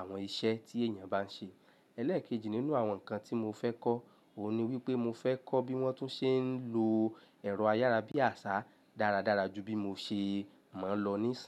àwọn iṣẹ́ tí èèyàn bá ń ṣe. Ẹ̀lẹ́ẹ̀kejì nínú àwọn nǹkan tí mo fẹ́ kọ́, òun ni wípé mo fẹ́ kọ́ bí wọ́n tún ṣe ń lo ẹ̀rọ ayára bí àṣá dáradára ju bí mo ṣe mọ ń lòó níṣàn.